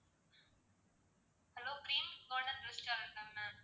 hello premist garden restaurant ma'am